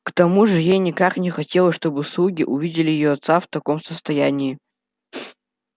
к тому же ей никак не хотелось чтобы слуги увидели её отца в таком состоянии